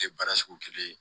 Tɛ baara sugu kelen ye